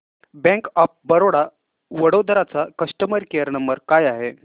bank of Baroda Vadodara चा customer care number काय आहे